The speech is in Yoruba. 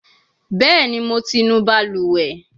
Bẹẹni, Mo ti nu baluwe